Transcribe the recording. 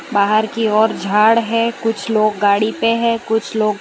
बाहर की ओर झाड़ है कुछ लोग गाड़ी पे है कुछ लोग --